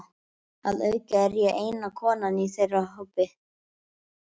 Að auki er ég eina konan í þeirra hópi.